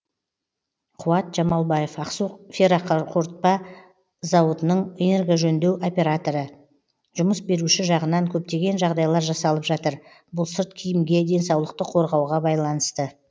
қуат жамалбаев ақсу ферроқорытпа зауытының энергожөндеу операторы жұмыс беруші жағынан көптеген жағдайлар жасалып жатыр бұл сырт киімге денсаулықты қорғауға байланысты